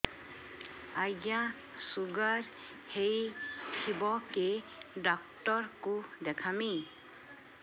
ଆଜ୍ଞା ଶୁଗାର ହେଇଥିବ କେ ଡାକ୍ତର କୁ ଦେଖାମି